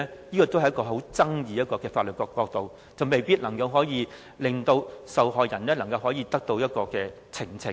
這也是具有爭議的法律角度，未必能令受害人得到呈請。